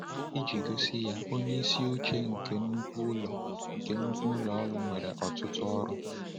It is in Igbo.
Iji gosi ya: Onye isi oche nke nnukwu ụlọ nke nnukwu ụlọ ọrụ nwere ọtụtụ ọrụ.